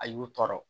A y'u tɔɔrɔ